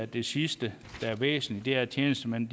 det sidste der er væsentligt er at tjenestemænd